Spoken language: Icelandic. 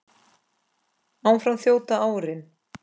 Áfram þjóta árin